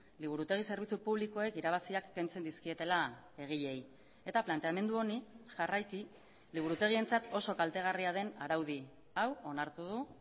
liburutegi zerbitzu publikoek irabaziak kentzen dizkietela egileei eta planteamendu honi jarraiki liburutegientzat oso kaltegarria den araudi hau onartu du